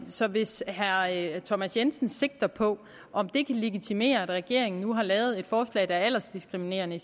så hvis herre thomas jensen sigter på om det kan legitimere at regeringen nu har lavet et forslag der er aldersdiskriminerende